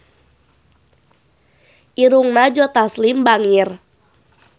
Irungna Joe Taslim bangir